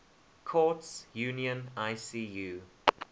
courts union icu